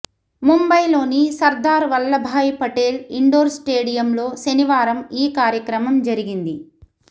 ముంబైలోని సర్దార్ వల్లభభాయ్ పటేల్ ఇండోర్ స్టేడియంలో శనివారం ఈ కార్యక్రమం జరిగింది